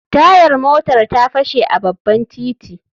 Tayar motar ta fashe a babban titin.